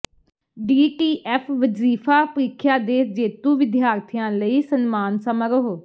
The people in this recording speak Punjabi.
ਡੀਟੀਐਫ ਵਜ਼ੀਫ਼ਾ ਪ੍ਰੀਖਿਆ ਦੇ ਜੇਤੂ ਵਿਦਿਆਰਥੀਆਂ ਲਈ ਸਨਮਾਨ ਸਮਾਰੋਹ